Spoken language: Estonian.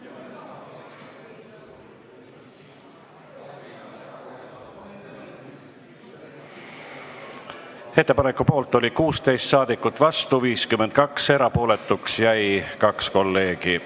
Hääletustulemused Ettepaneku poolt oli 16 ja vastu 52 saadikut, erapooletuks jäi 2 kolleegi.